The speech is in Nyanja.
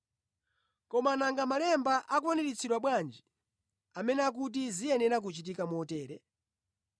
Koma nanga malemba akwaniritsidwa bwanji amene akuti ziyenera kuchitika motere?”